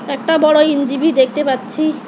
একটা বড়ো ইনজিবি দেখতে পাচ্ছি।